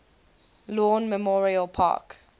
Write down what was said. lawn memorial park